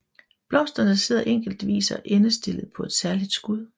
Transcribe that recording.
Blomsterne sidder enkeltvis og endestillet på et særligt skud